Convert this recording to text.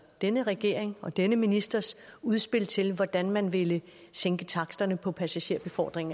denne regerings og denne ministers udspil til hvordan man ville sænke taksterne på passagerbefordring